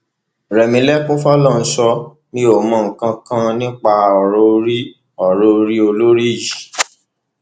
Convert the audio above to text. rẹmilekun fọlọrunsọ mi ò mọ nǹkan kan nípa ọrọ orí ọrọ orí olórí yìí